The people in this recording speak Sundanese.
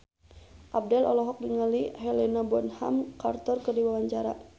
Abdel olohok ningali Helena Bonham Carter keur diwawancara